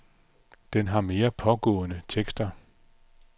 Den har mere pågående tekster.